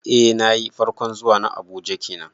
Eh nayi, farkon zuwa na Abuja kenan